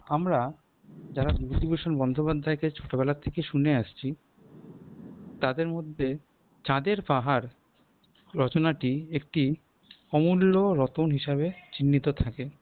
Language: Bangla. আমরা যারা বিভূতিভূষণ বন্দ্যোপাধ্যায়কে ছোটবেলা থেকে শুনে আসছি তাদের মধ্যে চাঁদের পাহাড় রচনাটি একটি অমূল্য রত্ন হিসেবে চিহ্নিত থাকে